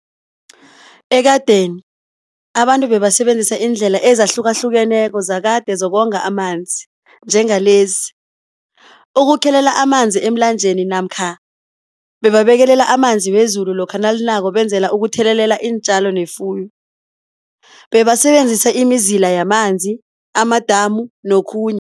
Ekadeni abantu bebasebenzisa iindlela ezahlukahlukeneko zakade zokonga amanzi njengalezi, ukukhelelela amanzi emlanjeni namkha bebabekelela amanzi wezulu lokha nalinako benzela ukuthelelela iintjalo nefuyo, bebasebenzisa imizila yamanzi, amadamu nokhunye.